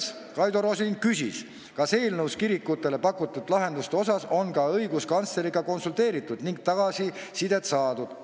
Siis Kaido Rosin küsis, kas eelnõus kirikutele pakutud lahenduste asjus on ka õiguskantsleriga konsulteeritud ning tagasisidet saadud.